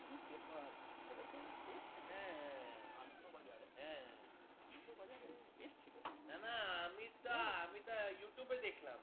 না না আমি তা আমি তাই You Tube এ দেখলাম